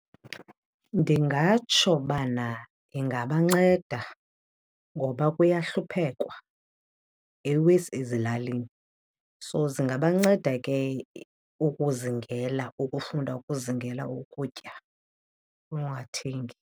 Ndingatsho ubana ingabanceda ngoba kuyahluphekwa, iwesi ezilalini. So zingabanceda ke ukuzingela, ukufunda ukuzingela ukutya ungathengi.